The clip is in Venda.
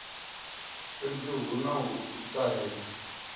fhedzi hu na u ṱahedzwa